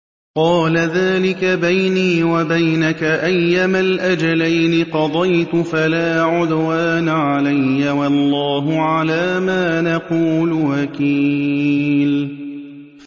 قَالَ ذَٰلِكَ بَيْنِي وَبَيْنَكَ ۖ أَيَّمَا الْأَجَلَيْنِ قَضَيْتُ فَلَا عُدْوَانَ عَلَيَّ ۖ وَاللَّهُ عَلَىٰ مَا نَقُولُ وَكِيلٌ